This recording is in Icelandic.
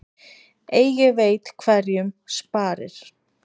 Eigi veit hverjum sparir.